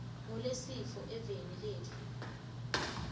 ngulesifo eveni letfu